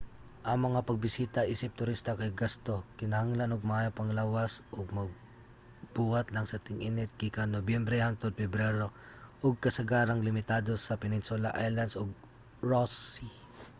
ang mga pagbisita isip turista kay gasto kinahanglan og maayong panglawas ug mabuhat lang sa ting-init gikan nobyembre hangtod pebrero ug kasagarang limitado sa peninsula islands ug ross sea